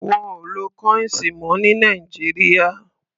Wọ́n ò lo kọ́íǹsì mọ́ ní Nàìjíríà.